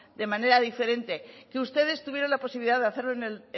de manera diferente que ustedes tuvieron la posibilidad de hacerlo en el